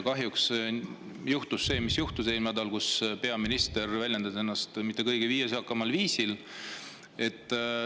Kahjuks eelmisel nädalal juhtus see, mis juhtus – peaminister ei väljendanud ennast just kõige viisakamal viisil.